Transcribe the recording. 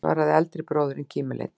svaraði eldri bróðirinn kímileitur.